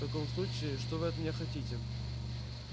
в таком случае что вы от меня хотите